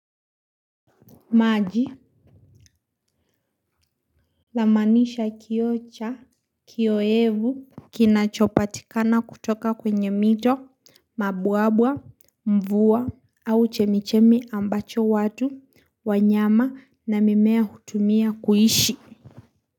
Maji. Namaanisha kioo cha kioevu. Kinachopatikana kutoka kwenye mito, mabwabwa, mvua au chemichemi ambacho watu wanyama na mimea hutumia kuishi.